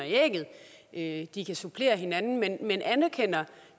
ægget de kan supplere hinanden men anerkender